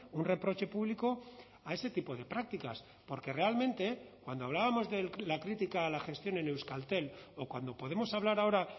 un reproche público a ese tipo de prácticas porque realmente cuando hablábamos de la crítica a la gestión en euskaltel o cuando podemos hablar ahora